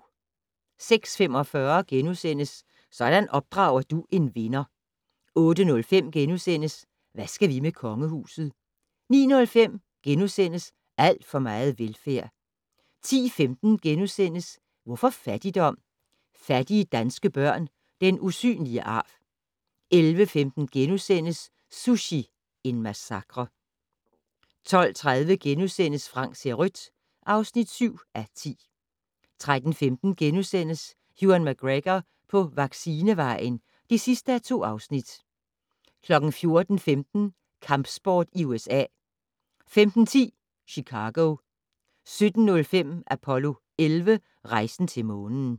06:45: Sådan opdrager du en vinder * 08:05: Hvad skal vi med kongehuset? * 09:05: Alt for meget velfærd * 10:15: Hvorfor fattigdom? - Fattige danske børn - den usynlige arv * 11:15: Sushi - en massakre * 12:30: Frank ser rødt (7:10)* 13:15: Ewan McGregor på vaccinevejen (2:2)* 14:15: Kampsport i USA 15:10: Chicago 17:05: Apollo 11 - Rejsen til månen